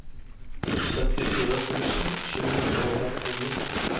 syttifire tusen sju hundre og førtini